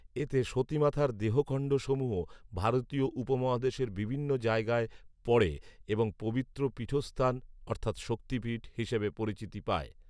এতে সতী মাতার দেহখণ্ডসমূহ ভারতীয় উপমহাদেশের বিভিন্ন জায়গায় পড়ে এবং পবিত্র পীঠস্থান অর্থাত শক্তিপীঠ হিসেবে পরিচিতি পায়